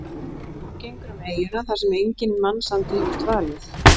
Og hún gengur um eyjuna þar sem enginn mannsandi hefur dvalið.